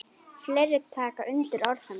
Fleiri taka undir orð hennar.